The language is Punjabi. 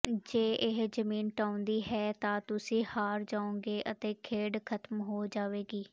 ਜੇ ਇਹ ਜ਼ਮੀਨ ਢਾਹੁੰਦੀ ਹੈ ਤਾਂ ਤੁਸੀਂ ਹਾਰ ਜਾਓਗੇ ਅਤੇ ਖੇਡ ਖਤਮ ਹੋ ਜਾਵੇਗੀ